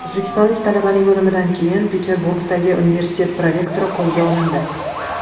O‘zbekistonlik talabaning o‘limidan keyin Peterburgdagi universitet prorektori qo‘lga olindi.